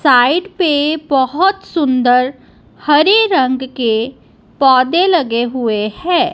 Side पे बहोत सुंदर हरे रंग के पौधे लगे हुए हैं।